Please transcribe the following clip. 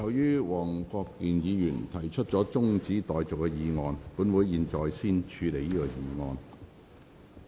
由於黃國健議員提出了中止待續的議案，本會現在先處理這項議案。